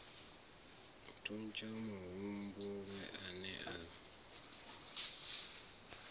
thuntsha muhumbulelwa a ne a